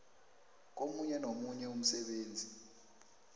komunye nomunye umsebenzi